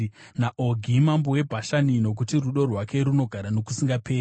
naOgi mambo weBhashani, Nokuti rudo rwake runogara nokusingaperi.